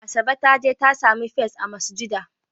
Asabe ta je ta sami first a masujada.